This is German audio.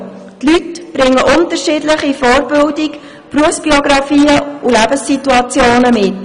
Die Leute bringen unterschiedliche Vorbildungen, Berufsbiografien und Lebenssituationen mit.